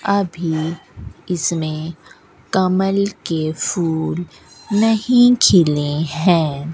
अभी इसमें कमल के फूल नहीं खिले हैं।